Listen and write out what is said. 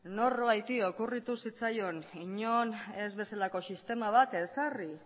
norbaiti okurritu zitzaion inon ez bezalako sistema bat ezarri